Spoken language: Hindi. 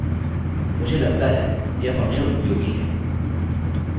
मुझे लगता है यह फंक्शन उपयोगी है